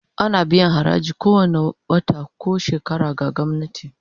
Ana biyan haraji kowane wata ko shekara ga gwamnati